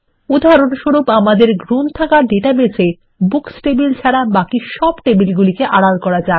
উদাহরণস্বরূপ আমাদের লাইব্রেরী ডাটাবেসের মধ্যে বুকস টেবিলগুলিকে ছাড়া বাকি সব টেবিল আড়াল করা যাক